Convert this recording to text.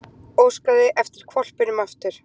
Óskaði eftir hvolpinum aftur